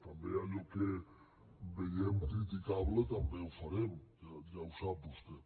també allò que veiem criticable també ho farem ja ho sap vostè